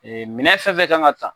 Ee minɛn fɛn fɛn kan ka ta